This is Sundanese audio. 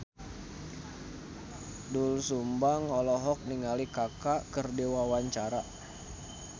Doel Sumbang olohok ningali Kaka keur diwawancara